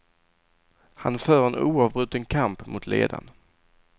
Han för en oavbruten kamp mot ledan.